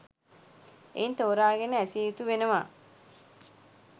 එයින් තෝරාගෙන ඇසිය යුතු වෙනවා